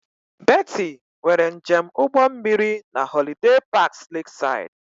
Betty nwere njem ụgbọ mmiri na Holiday Parks Lakeside